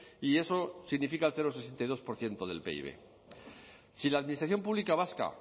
y eso significa el cero coma sesenta y dos por ciento del pib si la administración pública vasca